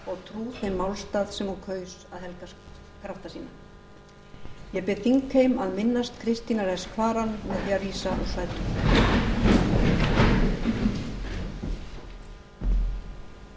trú sínum málstað sem hún kaus að helga krafta sína ég bið þingheim að minnast kristínar s kvaran með því að